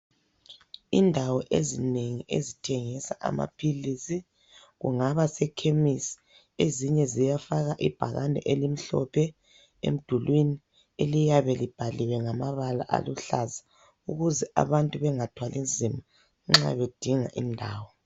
Indawo ezinengi ezithengisa amaphilisi kungaba seKhemisi. Ezinye ziyafaka ibhakane elimhlophe emdulwini eliyabe libhaliwe ngamabala aluhlaza ukuze abantu bengathwali nzima nxa bedinga indawo.